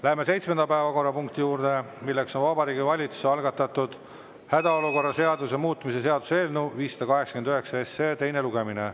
Läheme seitsmenda päevakorrapunkti juurde, milleks on Vabariigi Valitsuse algatatud hädaolukorra seaduse muutmise seaduse eelnõu 589 teine lugemine.